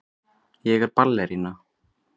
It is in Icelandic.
Ég er ballerína.